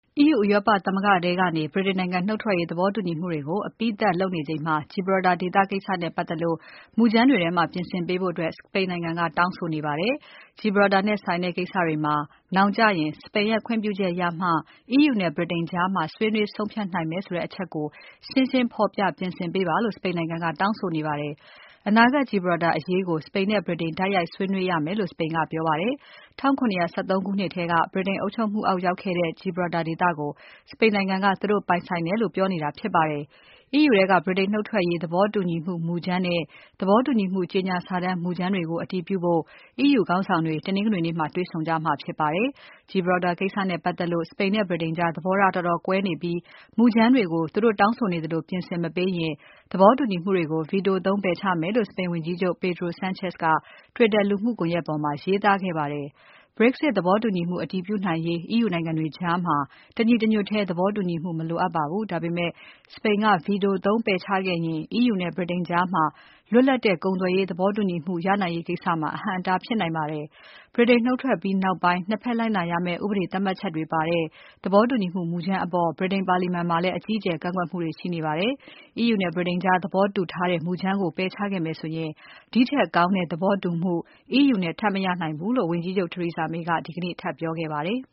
EU ဥရောပသမဂ္ဂထဲကနေ ဗြိတိန်နိုင်ငံနုတ်ထွက်ရေး သဘောတူညီမှုတွေ အပြီးသတ်ညှိနှိုင်းနေချိန် မှာ Gibraltar ကျွန်းကိစ္စနဲ့ပတ်သက်လို့ မူကြမ်းတွေထဲမှာ ပြင်ဆင်ပေးဖို့ စပိန်နိုင်ငံကတောင်းဆိုနေ ပါတယ်။ Gibraltar နဲ့ဆိုင်တဲ့ကိစ္စတွေမှာ နောင်ကျရင် စပိန်ရဲ့ ခွင့်ပြုချက်ရမှ EU နဲ့ ဗြိတိန်ကြား ဆွေးနွေး ဆုံးဖြတ်နိုင် မယ်ဆိုတဲ့ အချက်ကို ရှင်းရှင်းဖော်ပြ ပြင်ဆင်ပေးပါလို့ စပိန်နိုင်ငံက တောင်းဆိုနေတာဖြစ်ပါတယ်။ အနာဂါတ် Gilbraltar အရေးကို စပိန်နဲ့ ဗြိတိန်တိုက်ရိုက်ဆွေးနွေးရမယ်လို့ စပိန်ကပြောပါတယ်။ ၁၇၁၃ ခုနှစ်ထဲက ဗြိတိန်အုပ်ချုပ်မှုအောက်ရောက်ခဲ့တဲ့ Gibraltar ဒေသကို စပိန်နိုင်ငံက သူတို့ ပိုင်ဆိုင်တယ်လို့ ပြောနေတာ ဖြစ်ပါတယ်။ EU ထဲက ဗြိတိန်နုတ်ထွက်ရေး သဘောတူညီမှုမူကြမ်းနဲ့ သဘောတူမှုကြေညာစာတမ်း မူကြမ်းတွေ ကို တည်ပြုဖို့ EU ခေါင်းဆောင်တွေ တနင်္ဂနွေနေ့မှာ တွေ့ဆုံကြမှာဖြစ်ပါတယ်။ Gibraltar ကိစ္စနဲ့ ပတ်သက်လို့ စပိန်နဲ့ ဗြိတိန်ကြား သဘောထား တော်တော်ကွဲနေပြီး မူကြမ်းတွေကို သူတို့တောင်း ဆိုနေသလို ပြင်ဆင် မပေးရင် သဘောတူညီမှုတွေကို Veto သုံးပယ်ချမယ်လို့ စပိန်ဝန်ကြီးချုပ် Pedro Sanchez က Twitter လူမှုကွန်ယက်ပေါ်မှာ ရေးသားခဲ့ပါတယ်။ Brexit သဘောတူညီမှု အတည်ပြုနိုင်ဖို့ EU နိုင်ငံတွေကြား တညီတညွတ်ထဲ သဘောတူညီမှု မလို အပ်ပါဘူး။ ဒါပေမဲ့ စပိန်က Veto သုံးပယ်ချခဲ့ရင် EU နဲ့ ဗြိတိန်ကြား လွတ်လပ်တဲ့ ကုန်သွယ်ရေး သဘောတူညီမှုရနိုင်ရေး ကိစ္စမှာ အဟန့်အတားဖြစ်နိုင်ပါတယ်။ ဗြိတိန်နုတ်ထွက်ပြီးနောက်ပိုင်း ၂ ဘက်လိုက်နာရမယ့် ဥပဒေသတ်မှတ် ချက်တွေပါတဲ့ သဘောတူညီချက်မူကြမ်းအပေါ် ဗြိတိန်ပါလီမန်မှာလည်း အကြီးအကျယ်ကန့်ကွက်မှုတွေ ရှိနေပါတယ်။ EU နဲ့ဗြိတိန်ကြားသဘောတူထားတဲ့ မူကြမ်းကို ပယ်ချခဲ့မယ်ဆိုရင် ဒီထက်ကောင်းတဲ့သဘောတူမှု EU နဲ့ထပ်မရနိုင်ဘူးလို့ ဝန်ကြီးချုပ် Theresa May က ဒီကနေ့ထပ်ပြောခဲ့ပါတယ်။